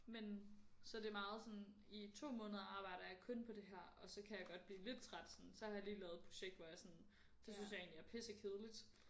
Men så det er meget sådan i 2 måneder arbejder jeg kun på det her og så kan jeg godt blive lidt træt sådan så har jeg lige lavet et projekt hvor jeg sådan det synes jeg egentlig er pissekedeligt